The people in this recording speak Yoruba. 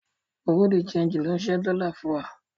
Bùrúdì ṣẹegì ló ń ṣẹ́ dọ́lá fún wa.